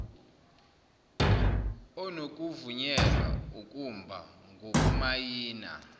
onokuvunyelwa ukumba ngokumayina